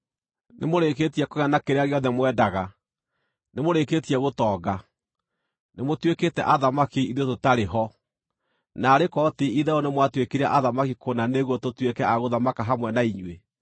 Nĩmũrĩkĩtie kũgĩa na kĩrĩa gĩothe mwendaga! Nĩmũrĩkĩtie gũtonga! Nĩmũtuĩkĩte athamaki, ithuĩ tũtarĩ ho! Naarĩ korwo ti-itherũ nĩmwatuĩkire athamaki kũna nĩguo tũtuĩke a gũthamaka hamwe na inyuĩ!